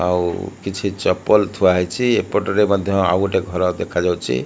ଆଉ କିଛି ଚପଲ ଥୁଆହେଇଛି। ଏପଟରେ ମଧ୍ୟ୍ୟ ଆଉ ଗୋଟେ ଘର ଦେଖାଯାଉଚି।